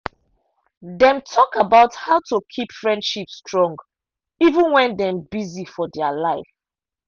dem talk about how to keep friendship strong even when dem busy for their life.